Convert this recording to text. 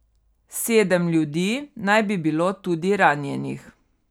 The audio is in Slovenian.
Sedem ljudi naj bi bilo tudi ranjenih.